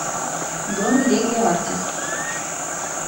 бронь леге артис